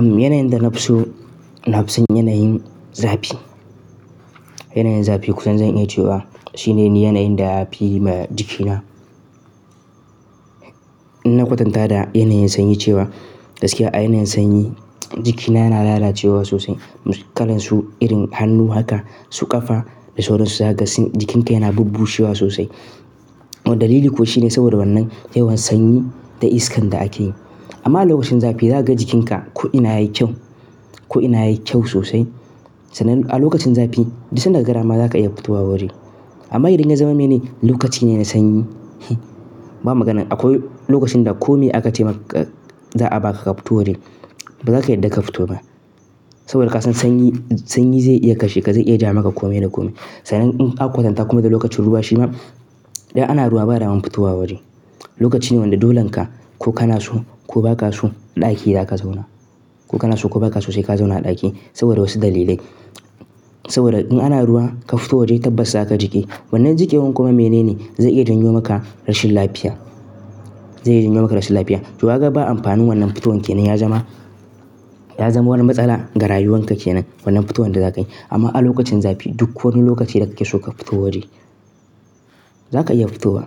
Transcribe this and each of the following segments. Yanayin da na fi so, na fi son yanayin zafi. Yanayin zafi, ko zan iya cewa shine yanayin da ya fi ma jikina. Na kwatanta da yanayin sanyi cewa gaskiya a yanayin sanyi jikina yana lalacewa sosai. Kalansu, irin hannu haka su kafa da sauran su, za ka ga jikinka yana bubbushiwa sosai. Dalili kuwa shine saboda wannan yawan sanyi da iskan da ake yi. Amma a lokacin zafi za ka ga jikinka ko ina yi kyau, ko ina yi kyau sosai. Sannan a lokacin zafi da sun dagara ma za ka iya fito wa waje. Amma idan ya zama mene lokaci ne na sanyi, ba magana akwai lokacin da kome aka taimaka za a baka ka fito waje. Ba za ka yadda ka fito ba saboda kasan sanyi, sanyi zai iya kashe ka, zai iya ja maka kome da kome. Sannan in ka kwatanta kuma da lokacin ruwa shi ma idan ana ruwa ba dama fitowa waje. Lokaci ne wanda dolon ka ko kana so ko ba ka so ɗaki za ka zauna. Ko kana so ko ba ka so sai ka zauna a ɗaki saboda wasu dalilai. Saboda in ana ruwa ka fito waje tabbas za ka jiƙe. Wannan jiƙewar kuma mene ne? Zai iya janyo maka rashin lafiya, zai iya janyo maka rashin lafiya. To ka gan ba amfanin wannan fitowan ke nan ya zama, ya zama wani matsala ga rayuwanka ke nan wannan fitowan da za ka yi. Amma a lokacin zafi duk wani lokaci da kake so ka fito waje za ka iya fitowa,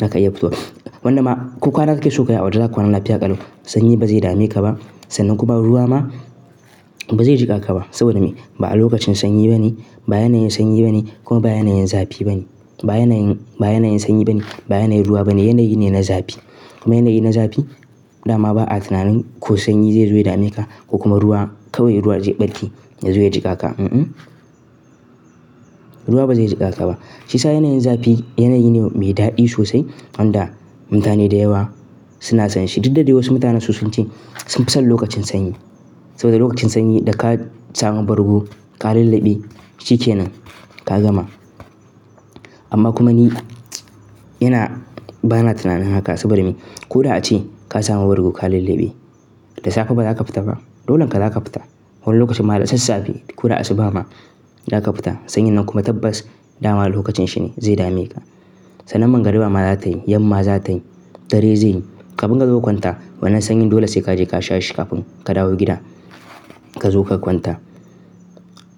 za ka iya fitowa. Wannan ma ko kwana kake so ka yi a waje, za ka kwana lafiya ƙallo. Sanyi ba zai dame ka ba sannan kuma ruwa ma ba zai jiƙa ka ba. Saboda me? Ba a lokacin sanyi ba ne, ba yanayin sanyi ba ne kuma ba yanayin zafi ba ne. Ba yanayin, ba yanayin sanyi ba ne, ba yanayin ruwa ba ne. Yanayi ne na zafi kuma yanayi na zafi dama ba a tunanin ko sanyi zai zo ya dame ka ko kuma ruwa kawai ruwa zai ɓarke ya zo ya jiƙa ka, mm. Ruwa ba zai jiƙa ka ba. Shi sa yanayin zafi yanayi ne mai daɗi sosai wanda mutane da yawa suna son shi. Duk da dai wasu mutanen su sun ce sun fi son lokacin sanyi saboda lokacin sanyi da ka samu bargo ka lallabe shike nan ka gama. Amma kuma ni yana ba na tunanin haka saboda me? Ko da ace ka samu bargo ka lallabe, da safe ba za ka fita ba. Dolon ka za ka fita wannan lokacin ma da sassafe. Ko da asuba ma za ka fita. Sanyi nan kuma tabbas dama lokacin shi ne zai dame ka. Sannan magariba ma za tayi, yamma za tayi, dare zai yi. Ka buga gaba kwanta wannan sanyi dole sai ka je ka sha shukafin ka dawo gida ka zo ka kwanta.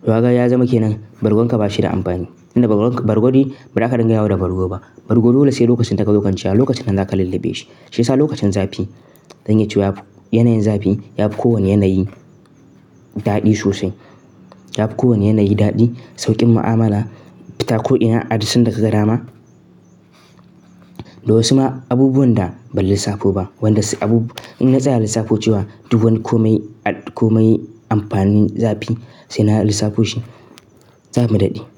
To ka gan ya zama ke nan bargon ka bashi da amfani. Inda bargo, bargo di ba za ka dinga yawo da bargo ba. Bargo dole sai lokacin da ka zo kwanciya, lokacin nan za ka lallabe shi. Shi sa lokacin zafi, zan iya cewa yanayin zafi ya fi kowane yanayi daɗi sosai. Ya fi kowane yanayi daɗi sauƙin mu'amala, fita ko ina, adadin da ka ga dama. Da wasu ma abubuwan da ban lissafo ba, wanda su abubu-- in na tsaya lissafo cewa duk wani kome, ad-kome amfanin zafi sai na lissafo shi, za mu daɗe.